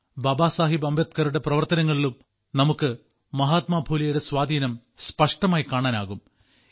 ബാബാ സാഹേബ് അംബേദ്കറുടെ പ്രവർത്തനങ്ങളിലും നമുക്ക് മഹാത്മാ ഫുലെയുടെ സ്വാധീനം സ്പഷ്ടമായി കാണാനാകും